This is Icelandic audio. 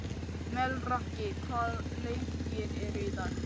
Melrakki, hvaða leikir eru í kvöld?